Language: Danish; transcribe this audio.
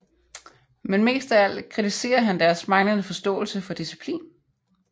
Men mest af alt kritiserer han deres manglende forståelse for disciplin